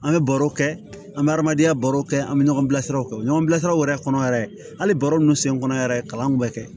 An bɛ baro kɛ an bɛ adamadenya baro kɛ an bɛ ɲɔgɔn bilasiraw kɛ u bɛ ɲɔgɔn bilasira u yɛrɛ kɔnɔ yɛrɛ hali baro ninnu sen kɔnɔ yɛrɛ kalan kun bɛ kɛ